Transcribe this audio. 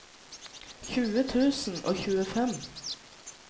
tjue tusen og tjuefem